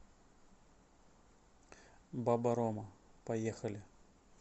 баба рома поехали